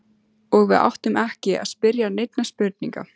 Og við áttum ekki að spyrja neinna spurninga.